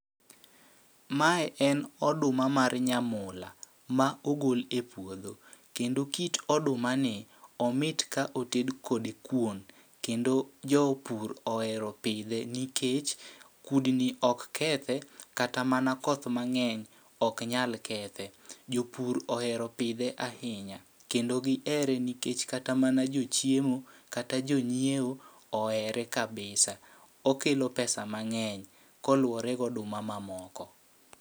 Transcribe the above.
Mae en oduma mar nyamula ma ogol e puodho, kendo kit oduma ni omit ka oted kode kuon. Kendo jopur ohero pidhe nikech kudni ok kethe, kata mana koth mang'eny ok nyal kethe. Jopur ohero pidhe ahinya, kendo gihere nikech kata mana jochiemo kata jonyiewo ohere kabisa. Okelo pesa mang'eny, koluwore goduma ma moko.